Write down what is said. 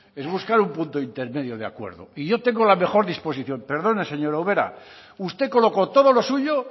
es buscar un punto intermedio de acuerdo y yo tengo la mejor disposición perdone señora ubera usted colocó todo lo suyo